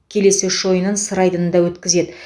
келесі үш ойынын сыр айдында өткізеді